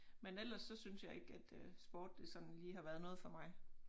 Men ellers så synes jeg ikke at øh sport det sådan lige har været noget for mig